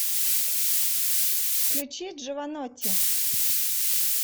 включи джованотти